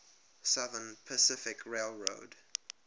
southern pacific railroad